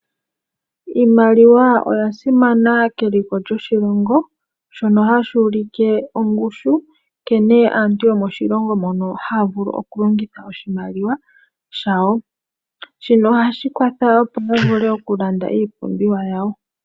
Iimaliwa oya simana keliko lyoshilongo, shono hashi ulike ongushu nkene aantu yomoshilongo mono haya vulu oku longitha oshimaliwa shawo. Shino ohashi kwatha opo ya vule okulanda iipumbiwa yawo.